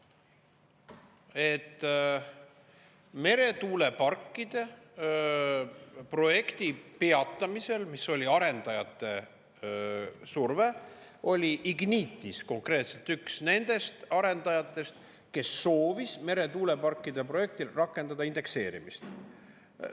Et meretuuleparkide projekti peatamisel, mis oli arendajate surve, oli Ignitis konkreetselt üks nendest arendajatest, kes soovis meretuuleparkide projektile rakendada indekseerimist.